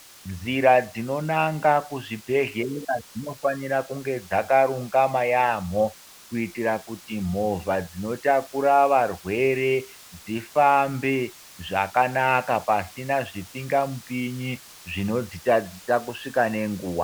Nzira dzinonanga kuzvibhehlera dzinofana kunge dzakarurama yampho kuitira kuti movha dzinotakura varwere dzifambe zvakanaka pasina zvimhingamupinyi dzinodzitadzisa kusvika ngenguva.